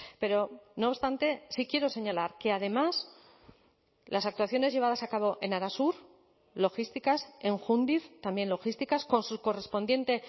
pero no obstante sí quiero señalar que además las actuaciones llevadas a cabo en arasur logísticas en jundiz también logísticas con su correspondiente